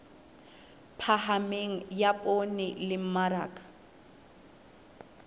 phahameng ya poone le mmaraka